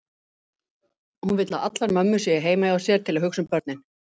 Hún vill að allar mömmur séu heima hjá sér til að hugsa um börnin.